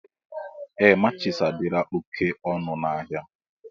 Ee matchis adịla oké ọnụ n'ahia.